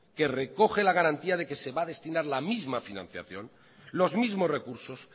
que recoge la garantía de que se va a destinar la misma financiación los mismos recursos